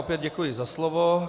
Opět děkuji za slovo.